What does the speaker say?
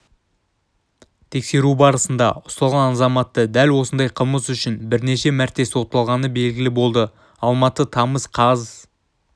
тексеру барысында ұсталған азаматты дәл осындай қылмыс үшін бірнеше мәрте сотталғаны белгілі болды алматы тамыз қаз